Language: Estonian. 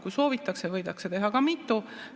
Kui soovitakse, võidakse teha ka mitu.